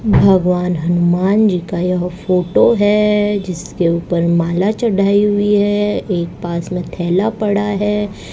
भगवान हनुमान जी का यह फोटो है जिसके ऊपर माला चढ़ाई हुई है एक पास में थैला पड़ा है।